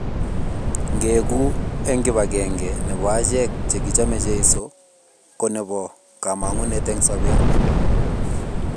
ngeegu eng kip akenge nebo achek chekichame cheso ko nebo kamangut eng sabet